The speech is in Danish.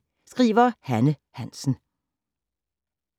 Hanne Hansen